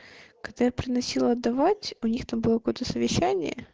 когда я приносила отдавать у них там было какое-то совещание